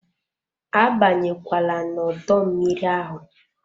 Abanye kwala n'odo mmiri ahụ!